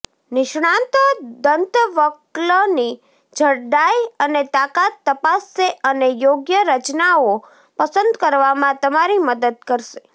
નિષ્ણાતો દંતવલ્કની જાડાઈ અને તાકાત તપાસશે અને યોગ્ય રચનાઓ પસંદ કરવામાં તમારી મદદ કરશે